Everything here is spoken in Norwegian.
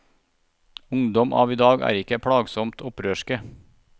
Ungdom av i dag er ikke plagsomt opprørske.